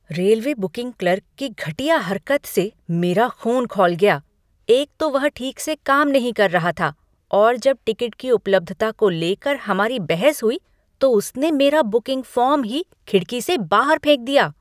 Railway booking clerk की घटिया हरकत से मेरा ख़ून खौल गया, एक तो वह ठीक से काम नहीं कर रहा था और जब टिकट की उपलब्धता को लेकर हमारी बहस हुई, तो उसने मेरा बुकिंग फॉर्म ही खिड़की से बाहर फेंक दिया।